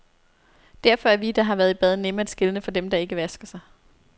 Derfor er vi, der har været i bad, nemme at skelne fra dem, der ikke vasker sig.